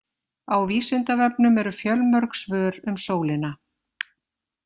Á Vísindavefnum eru fjölmörg svör um sólina.